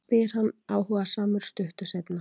spyr hann áhugasamur stuttu seinna.